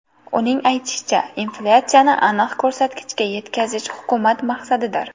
Uning aytishicha, inflyatsiyani aniq ko‘rsatkichga yetkazish hukumat maqsadidir.